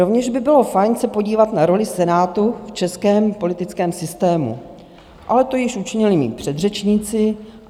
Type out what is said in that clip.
Rovněž by bylo fajn se podívat na roli Senátu v českém politickém systému, ale to již učinili mí předřečníci.